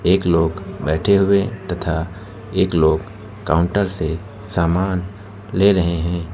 एक लोग बैठे हुए हैं तथा एक लोग काउंटर से सामान ले रहे हैं।